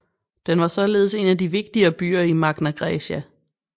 Den var således en af de vigtigere byer i Magna Graecia